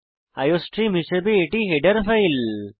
iostream হিসাবে এটি header file